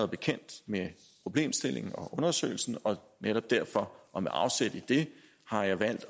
bekendt med problemstillingen og undersøgelsen og netop derfor og med afsæt i det har jeg valgt